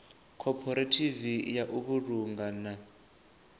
khophorethivi ya u vhulunga na